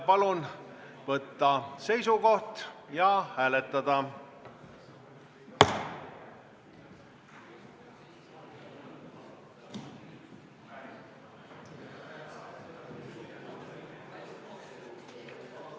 Palun võtta seisukoht ja hääletada!